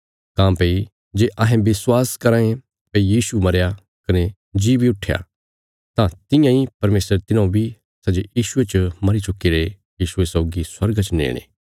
काँह्भई जे अहें विश्वास कराँ ये भई यीशु मरया कने जी बी उट्ठया तां तियां इ परमेशर तिन्हौं बी सै जे यीशुये च मरी चुक्कीरे यीशुये सौगी स्वर्गा च नेणे